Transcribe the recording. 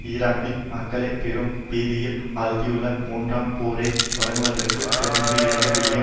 ஈராக்கில் மக்களை பெரும் பீதியில் ஆழ்த்தியுள்ள மூன்றாண் போரை தொடர்வதற்கு தொன்னூற்றி இரண்டு பில்லியன்